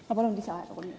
Ma palun lisaaega!